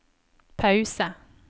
pause